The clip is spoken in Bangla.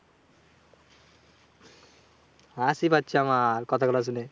হাসি পাচ্ছে আমার কথা গুলো শুনে।